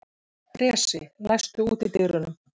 Bresi, læstu útidyrunum.